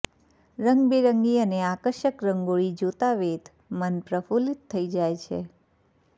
રંગબેરંગી અને આકર્ષક રંગોળી જોતા વેંત મન પ્રફુલ્લિત થઇ જાય છે